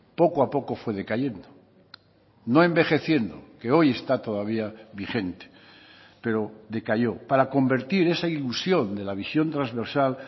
poco a poco fue decayendo no envejeciendo que hoy está todavía vigente pero decayó para convertir esa ilusión de la visión trasversal